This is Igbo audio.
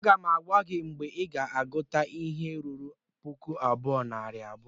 Aga m agwa gị mgbe ị ga-agụta ihe ruru puku abụọ na narị abụọ!